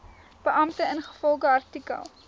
beampte ingevolge artikel